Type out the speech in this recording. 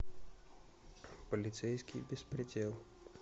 полицейский беспредел